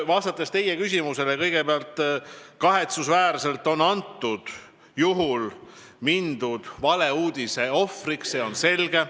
Vastates teie küsimusele ütlen kõigepealt, et kahetsusväärselt on antud juhul satutud valeuudise ohvriks, see on selge.